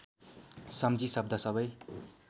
सम्झी शब्द सबै